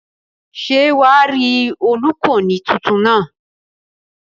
Ṣé wà á rí olùkọ́ni tuntun náà?